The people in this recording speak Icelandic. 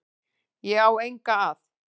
Ég á enga að.